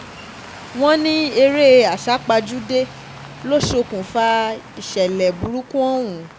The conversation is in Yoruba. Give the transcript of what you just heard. wọ́n ní eré àsápajúdé ló ṣokùnfà ìṣẹ̀lẹ̀ burúkú ìṣẹ̀lẹ̀ burúkú ọ̀hún